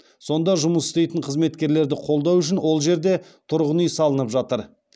сонда жұмыс істейтін қызметкерлерді қолдау үшін ол жерде тұрғын үй салынып жатыр